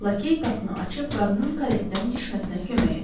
Lakey qapını açıb qadının karetdən düşməsinə kömək etdi.